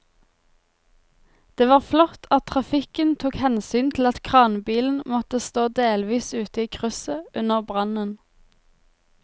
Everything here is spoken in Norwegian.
Det var flott at trafikken tok hensyn til at kranbilen måtte stå delvis ute i krysset under brannen.